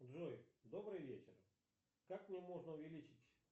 джой добрый вечер как мне можно увеличить